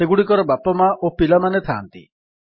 ସେଗୁଡିକର ବାପା ମା ଓ ପିଲାମାନେ ଥାନ୍ତି